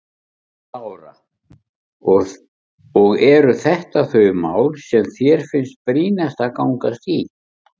Lára: Og eru þetta þau mál sem þér finnst brýnast að ganga í?